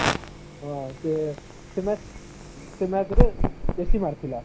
ହଁ ସେ ସେ match ସେ match ରେ ବେଶୀ ମାରିଥିଲା